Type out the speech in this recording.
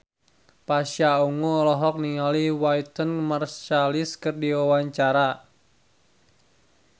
Pasha Ungu olohok ningali Wynton Marsalis keur diwawancara